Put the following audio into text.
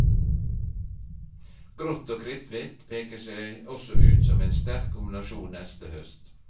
Grått og kritthvitt peker seg også ut som en sterk kombinasjon neste høst.